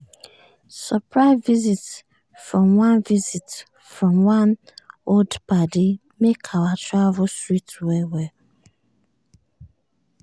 surprise visit from one visit from one old paddy make our travel sweet well well.